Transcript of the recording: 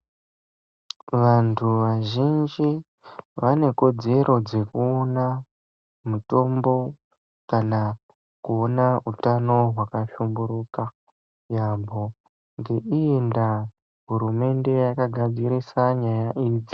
Vantu vazhinji vane kodzero dzekuona mitombo kana kuona hutano hwakahlumburuka yambo ngeiyi ndaa hurumende yakagadzirisa nyaya idzi.